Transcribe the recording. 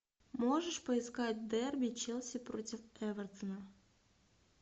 можешь поискать дерби челси против эвертона